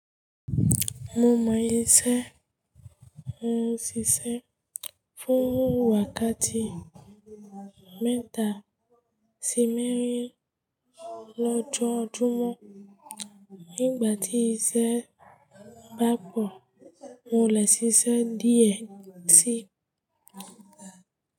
Mo mọ iṣẹ́, mo ń ṣiṣẹ́ fún wákàtí mẹ́ta sí mẹ́rin lọ́jọ́ọjúmọ̀. Nígbà tí iṣẹ́ bá pọ̀, mo lè ṣiṣẹ́ díẹ̀ sí.